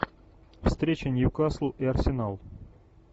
встреча ньюкасл и арсенал